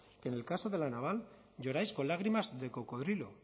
que en el caso de la naval lloráis con lágrimas de cocodrilo